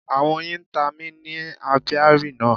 Àwọn oyin ta mi ni Apiary náà.